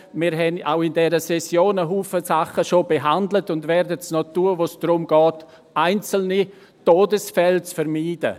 Wir haben auch in dieser Session bereits einen Haufen Dinge behandelt und werden es noch tun, wo es darum geht, einzelne Todesfälle zu vermeiden.